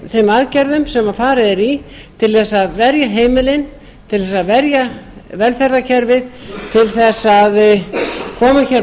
þeim aðgerðum sem farið er í til þess að verja heimilin til þess að verja velferðarkerfið til þess að koma hér